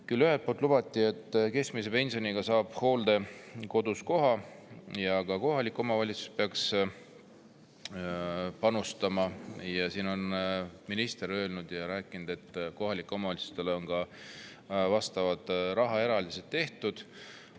Küll ühelt poolt lubati, et keskmise pensioniga saab hooldekodus koha ja ka kohalik omavalitsus peaks panustama, ning minister on rääkinud, et kohalikele omavalitsustele on ka vastavad rahaeraldised tehtud.